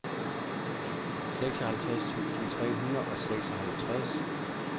seksoghalvtreds tusind tre hundrede og seksoghalvtreds